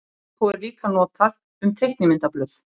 Skrípó er líka notað um teiknimyndablöð.